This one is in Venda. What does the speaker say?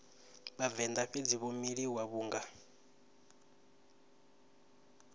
vhavenḓa fhedzi vho miliwa vhunga